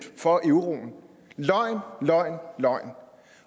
for euroen løgn løgn